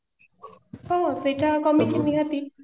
ହଁ ସେଇଟା କମିଛି ନିହାତି